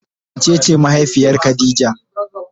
Wa cece mahaifiyar khadijah?